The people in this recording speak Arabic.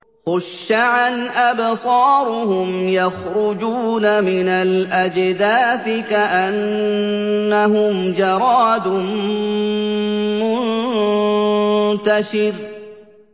خُشَّعًا أَبْصَارُهُمْ يَخْرُجُونَ مِنَ الْأَجْدَاثِ كَأَنَّهُمْ جَرَادٌ مُّنتَشِرٌ